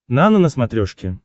нано на смотрешке